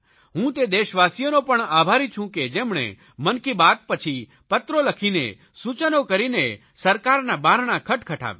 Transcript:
હું તે દેશવાસીઓનો પણ આભારી છું કે જેમણે મન કી બાત પછી પત્રો લખીને સૂચનો કરીને સરકારના બારણા ખટખટાવ્યા